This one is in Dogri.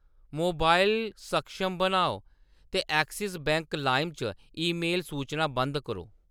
मोबाइल सक्षम बनाओ, ते एक्सिस बैंक लाइम च ईमेल सूचनां बंद करो।